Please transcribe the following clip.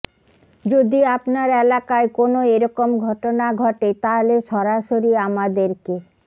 যদি আপনার এলাকায় কোনো এরকম ঘটনা ঘটে তাহলে সরাসরি আমাদেরকে